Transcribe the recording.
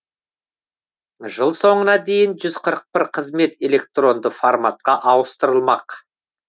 жыл соңына дейін жүз қырық бір қызмет электронды форматқа ауыстырылмақ